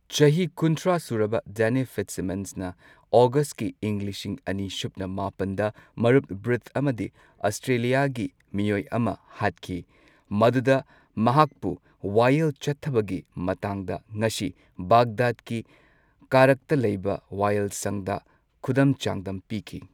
ꯆꯍꯤ ꯀꯨꯟꯊ꯭ꯔꯥ ꯁꯨꯔꯕ ꯗꯥꯅꯤ ꯐꯤꯠꯁꯤꯃꯟꯁꯅ ꯑꯣꯒꯁ꯭ꯠꯀꯤ ꯏꯪ ꯂꯤꯁꯤꯡ ꯑꯅꯤ ꯁꯨꯞꯅ ꯃꯥꯄꯟꯗ ꯃꯔꯨꯞ ꯕ꯭ꯔꯤꯠ ꯑꯃꯗꯤ ꯑꯁꯇ꯭ꯔꯦꯂꯤꯌꯥꯒꯤ ꯃꯤꯑꯣꯏ ꯑꯃ ꯍꯥꯠꯈꯤ꯫ ꯃꯗꯨꯗ ꯃꯍꯥꯛꯄꯨ ꯋꯥꯌꯦꯜ ꯆꯠꯊꯕꯒꯤ ꯃꯇꯥꯡꯗ ꯉꯁꯤ ꯕꯥꯒꯗꯥꯗꯀꯤ ꯀꯥꯔ꯭ꯈꯇ ꯂꯩꯕ ꯋꯥꯌꯦꯜꯁꯪꯗ ꯈꯨꯗꯝ ꯆꯥꯡꯗꯝ ꯄꯤꯈꯤ꯫